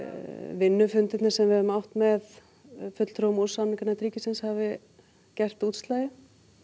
vinnu fundirnir sem við höfum átt með samningarnefnd ríkisins hafi gert útslagið